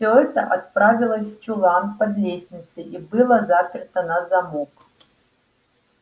всё это отправилось в чулан под лестницей и было заперто на замок